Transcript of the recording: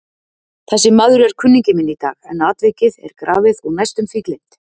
Þessi maður er kunningi minn í dag, en atvikið er grafið og næstum því gleymt.